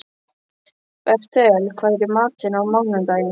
Bertel, hvað er í matinn á mánudaginn?